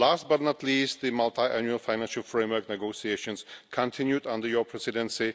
Last but not least, the Multiannual Financial Framework negotiations continued under your Presidency.